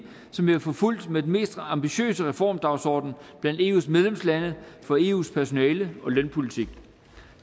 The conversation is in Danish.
som vi har forfulgt med den mest ambitiøse reformdagsorden blandt eus medlemslande for eus personale og lønpolitik